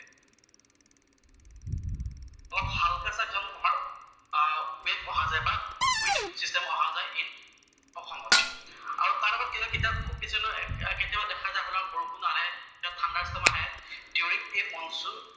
এইটো এটা সময়ত আমাৰ উইণ্ড অহা যায় বা উইণ্ড চিষ্টেম অহা যায় আমাৰ অসমত। আৰু তাৰ লগত কেতিয়াবা দেখা যায় আপোনাৰ বৰষুণ আহে, ঠাণ্ডাৰ্ষট্ৰম আহে দিউৰিং এই মনচুন